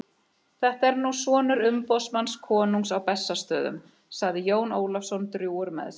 Þetta er nú sonur umboðsmanns konungs á Bessastöðum, sagði Jón Ólafsson drjúgur með sig.